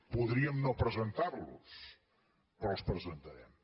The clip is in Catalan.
podríem no presentarlos però els presentarem